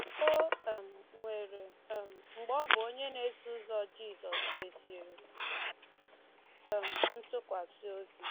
O um nwere um mgbe ọ bụ onye na-eso ụzọ Jizọs kwesịrị um ntụkwasị obi.